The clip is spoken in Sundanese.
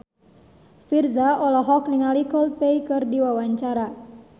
Virzha olohok ningali Coldplay keur diwawancara